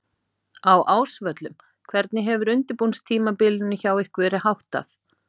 Á Ásvöllum Hvernig hefur undirbúningstímabilinu hjá ykkur verið háttað?